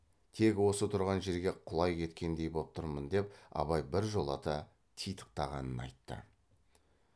тек осы тұрған жерге құлай кеткендей боп тұрмын деп абай біржолата титықтағанын айтты